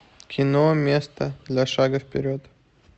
кино место для шага вперед